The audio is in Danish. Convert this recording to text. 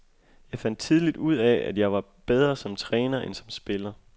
Jeg fandt tidligt ud af, at jeg var bedre som træner end som spiller.